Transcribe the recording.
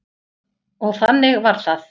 Og þannig var það.